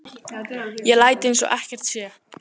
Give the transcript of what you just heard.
Ég læt eins og ekkert sé.